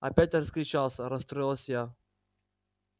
опять раскричался расстроилась я